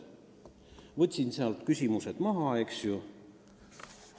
Küsimused võtsin maha, eks ju.